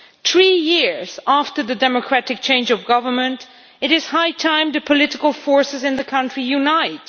Three years after the democratic change of government, it is high time for the political forces in the country to unite.